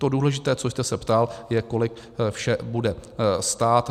To důležité, co jste se ptal, je, kolik vše bude stát.